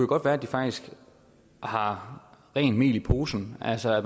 godt være de faktisk har rent mel i posen altså at